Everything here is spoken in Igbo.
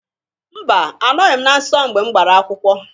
Mba! Anọghị m na nsọ mgbe m gbara akwụkwọ.